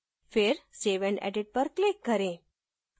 फिर save and edit पर click करें